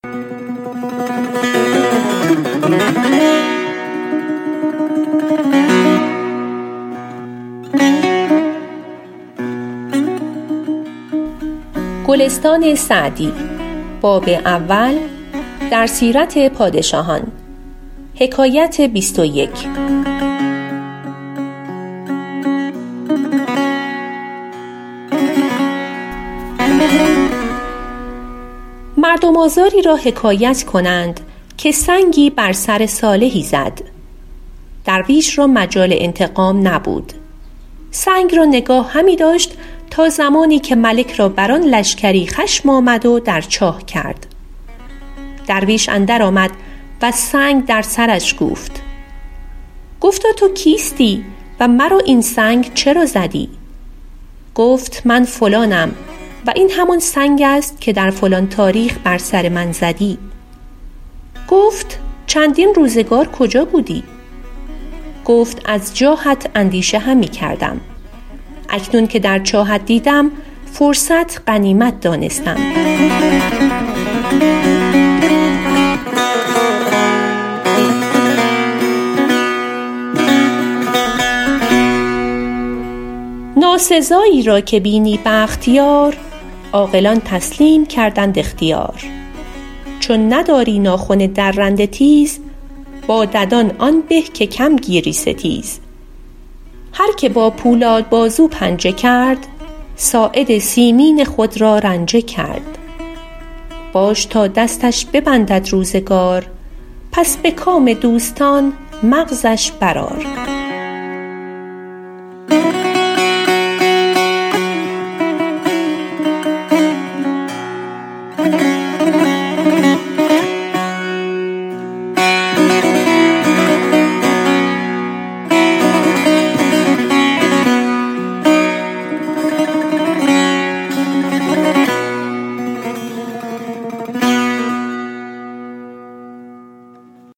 مردم آزاری را حکایت کنند که سنگی بر سر صالحی زد درویش را مجال انتقام نبود سنگ را نگاه همی داشت تا زمانی که ملک را بر آن لشکری خشم آمد و در چاه کرد درویش اندر آمد و سنگ در سرش کوفت گفتا تو کیستی و مرا این سنگ چرا زدی گفت من فلانم و این همان سنگ است که در فلان تاریخ بر سر من زدی گفت چندین روزگار کجا بودی گفت از جاهت اندیشه همی کردم اکنون که در چاهت دیدم فرصت غنیمت دانستم ناسزایی را که بینی بخت یار عاقلان تسلیم کردند اختیار چون نداری ناخن درنده تیز با ددان آن به که کم گیری ستیز هر که با پولاد بازو پنجه کرد ساعد مسکین خود را رنجه کرد باش تا دستش ببندد روزگار پس به کام دوستان مغزش بر آر